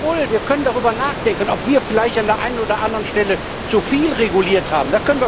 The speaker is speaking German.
Jawohl, wir können darüber nachdenken, ob wir vielleicht an der einen oder anderen Stelle zu viel reguliert haben.